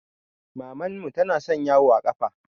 Mamman mu tana son yawo a ƙafa